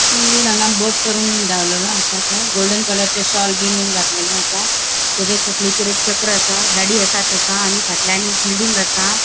वयर हांगा बोट करून दावरलेलो आसा तो गोल्डन कलरचे शोल बिन घातलेले आसा तेच्या तकलेचेर एक चक्र आसा दाढी आसा तेका आणि फाटल्यान एक बिल्डिंग आसा.